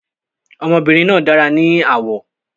Ọmọbìnrin náà dára ní àwọ̀